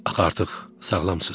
Axı artıq sağlımsız.